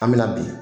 An bɛ na bi